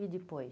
E depois?